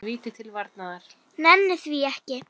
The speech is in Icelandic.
Nenni því ekki